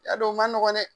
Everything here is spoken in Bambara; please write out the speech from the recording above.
I y'a dɔn o ma nɔgɔ dɛ